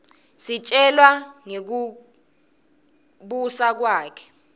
sitjelwa nangekubusa kwakhe